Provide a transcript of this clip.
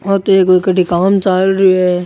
ओ तो एक कठइ काम चाल रो है।